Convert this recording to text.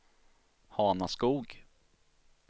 Hanaskog